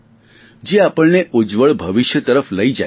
જે આપણને ઉજ્જવળ ભવિષ્ય તરફ લઈ જાય છે